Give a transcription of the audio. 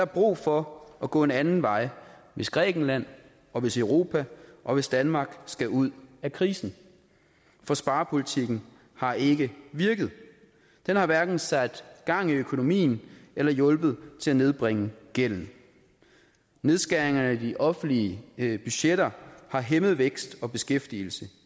brug for at gå en anden vej hvis grækenland og hvis europa og hvis danmark skal ud af krisen for sparepolitikken har ikke virket den har hverken sat gang i økonomien eller hjulpet til at nedbringe gælden nedskæringerne i de offentlige budgetter har hæmmet vækst og beskæftigelse